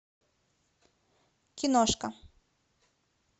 киношка